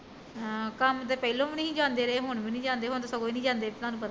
ਹਾਂ ਕੰਮ ਤੇ ਪਹਿਲਾਂ ਵੀ ਨੀ ਜਾਂਦੇ ਰਹੇ ਹੁਣ ਵੀ ਨੀ ਜਾਂਦੇ ਹੁਣ ਤੇ ਸੱਗੀ ਈ ਨੀ ਜਾਂਦੇ ਤੁਹਾਨੂੰ ਪਤਾ ਈ ਐ